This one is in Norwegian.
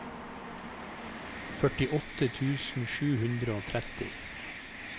førtiåtte tusen sju hundre og tretti